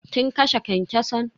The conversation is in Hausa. Kin kashe kyankyason?